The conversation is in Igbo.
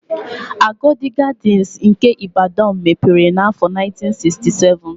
Agodi Gadịnsị nke Ịbadọn mepere n'áfọ̀ 1967.